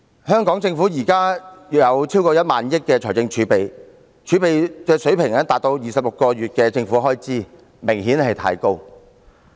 香港政府現時財政儲備超過 10,000 億元，儲備水平達到26個月的政府開支，明顯過高。